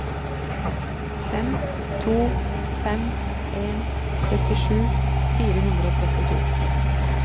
fem to fem en syttisju fire hundre og trettito